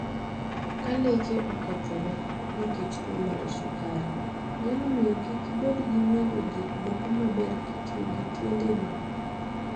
Ka leche okethore nikech tuo mar sukari, nyalo miyo kik ibed gi winjo gik moko maber kitiyo gi tiendeni.